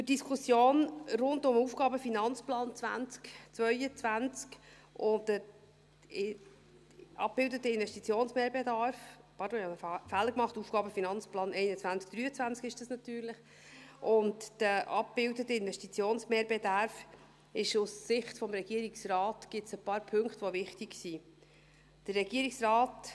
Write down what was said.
Für die Diskussion rund um den AFP 2022 und den abgebildeten Investitionsbedarf – pardon, ich habe einen Fehler gemacht, es ist natürlich der AFP 2021–2023 – gibt es aus Sicht des Regierungsrates ein paar Punkte, die wichtig sind.